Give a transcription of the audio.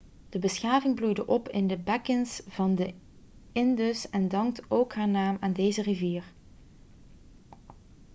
de beschaving bloeide op in de bekkens van de indus en dankt ook haar naam aan deze rivier